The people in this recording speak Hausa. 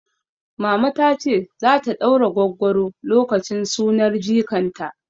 Mama tace zata ɗaura gwaggwaro lokacin sunar jikan ta